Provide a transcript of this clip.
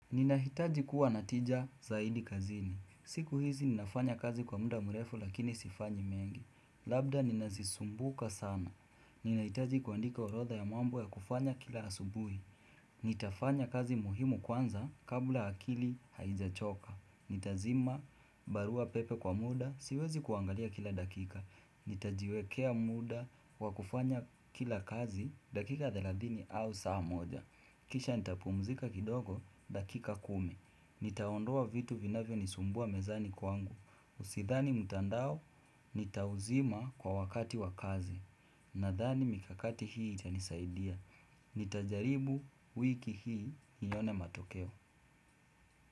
Ninahitaji kuwa natija zaidi kazini. Siku hizi ninafanya kazi kwa muda mrefu lakini sifanyi mengi. Labda ninazisumbuka sana. Ninahitaji kuandika orodha ya mambo ya kufanya kila asubuhi. Nitafanya kazi muhimu kwanza kabla akili haijachoka Nitazima barua pepe kwa muda siwezi kuangalia kila dakika Nitajiwekea muda wakufanya kila kazi dakika 30 au saa moja Kisha nitapumzika kidogo dakika 10 Nitaondoa vitu vinavyo nisumbua mezani kwangu Usidhani mtandao nitauzima kwa wakati wa kazi Nathani mikakati hii itanisaidia ni tajaribu wiki hii nione matokeo.